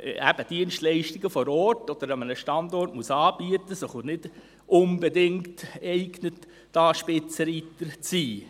eben Dienstleistungen vor Ort oder an einem Standort anbieten muss und sich nicht unbedingt dazu eignet, diesbezüglich ein Spitzenreiter zu sein.